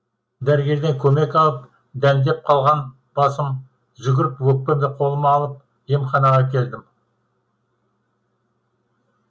дәрігерден көмек алып дәндеп қалған басым жүгіріп өкпемді қолыма алып емханаға келдім